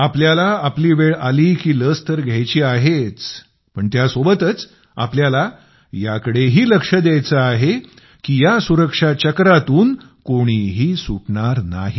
आपल्याला आपली वेळ आली की लस तर घ्यायची आहेच पण त्यासोबतच आपल्याला याकडेही लक्ष द्यायचे आहे की या सुरक्षा चक्रातून कोणीही सुटणार नाही